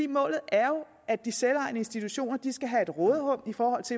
målet er at de selvejende institutioner skal have et råderum for